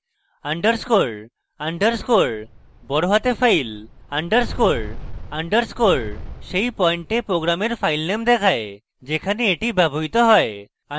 underscore underscore file সব বড়হাতে underscore underscore সেই পয়েন্টে program file দেখায় যেখানে এটি ব্যবহৃত হয়